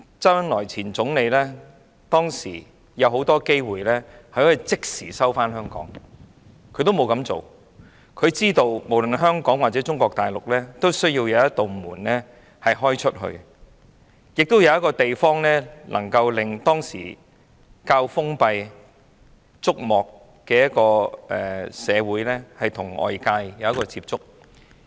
當時，前總理周恩來有眾多機會可以即時收回香港，但他沒有這樣做，因為他知道內地需要一道向外打開的門，需要一個地方，讓當時較封閉的竹幕社會與外界接觸。